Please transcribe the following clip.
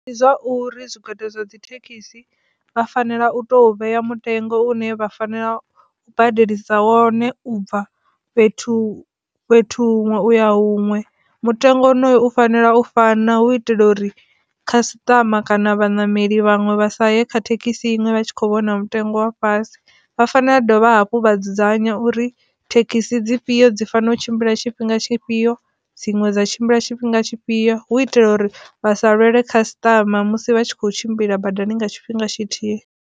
Ndi zwauri zwigwada zwa dzithekhisi vha fanela u to vhea mutengo une vha fanela u badeliswa wone u bva fhethu, fhethu huṅwe uya huṅwe mutengo wonoyo u fanela u fana hu itela uri khasitama kana vhaṋameli vhaṅwe vha sa ye kha thekhisi iṅwe vha tshi kho vhona mutengo wa fhasi, vha fanela u dovha hafhu vha dzudzanya uri thekhisi dzifhio dzi fanela u tshimbila tshifhinga tshifhio dziṅwe dza tshimbila tshifhinga tshifhio hu itela uri vha sa lwele khasitama musi vha tshi kho tshimbila badani nga tshifhinga tshithihi.